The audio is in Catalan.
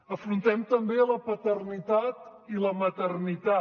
afrontem també la paternitat i la maternitat